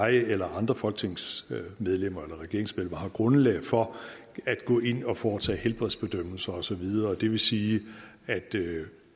at jeg eller andre folketingsmedlemmer eller regeringsmedlemmer har grundlag for at gå ind at foretage helbredsbedømmelser og så videre det vil sige at